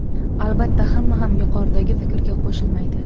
Albatta, hamma ham yuqoridagi fikrga qo‘shilmaydi.